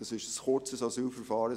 Es gäbe ein kurzes Asylverfahren.